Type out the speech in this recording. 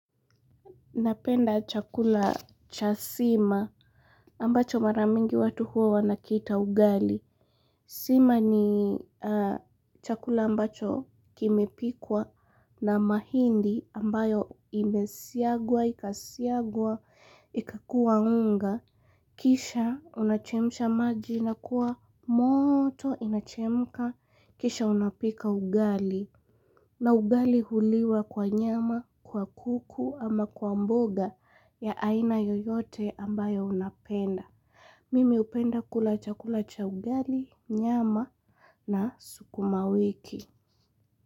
Napenda chakula chasima ambacho maramingi watu huwa wanakiita ugali. Sima ni chakula ambacho kimepikwa na mahindi ambayo imesiagwa, ikasiagwa, ikakua unga. Kisha unachemsha maji na kuwa moto inachemka. Kisha unapika ugali na ugali huliwa kwa nyama kwa kuku ama kwa mboga ya aina yoyote ambayo unapenda. Mimi hupenda kula chakula cha ugali nyama na sukuma wiki.